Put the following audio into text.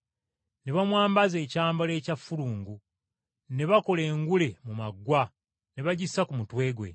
Ne bamwambaza ekyambalo ekya ffulungu, ne bakola engule mu maggwa ne bagissa ku mutwe gwe.